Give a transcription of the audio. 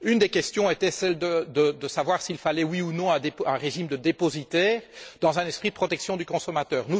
Une des questions était celle de savoir s'il fallait oui ou non un régime de dépositaires dans un esprit de protection du consommateur.